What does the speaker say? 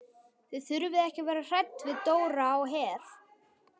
Þið þurfið ekki að vera hrædd við Dóra á Her.